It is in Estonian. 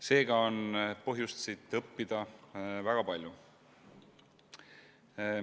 Seega on põhjust siit õppida väga palju.